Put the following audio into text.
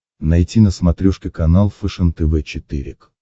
найти на смотрешке канал фэшен тв четыре к